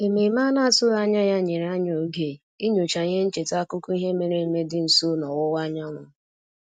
Ememe a na-atụghị anya ya nyere anyị oge inyocha ihe ncheta akụkọ ihe mere eme dị nso n'ọwụwa anyanwụ